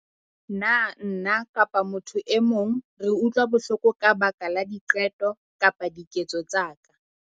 Na nna kapa motho e mong re utlwa bohloko ka baka la diqeto kapa diketso tsa ka?